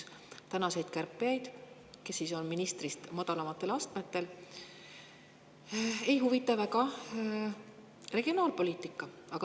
Tänaseid kärpijaid, kes on ministrist madalamal astmel, ei huvita väga regionaalpoliitika.